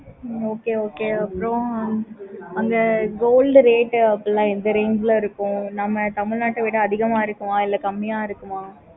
okay okay அப்பறம் அங்க gold rate அப்படி எல்லாம் எந்த range ல இருக்கு. நம்ம தமிழ்நாட்ட விட அதிகமா இருக்குமா இல்ல கம்மியா இருக்குமா?